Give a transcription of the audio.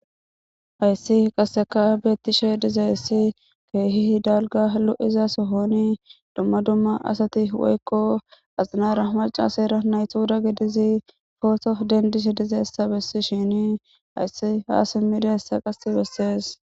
Hayssi kehippe lo'izza Inddira adera ba nayttara issi bolla bettishe deletes.